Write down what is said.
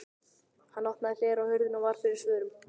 Hann opnaði hlera á hurðinni og varð fyrir svörum.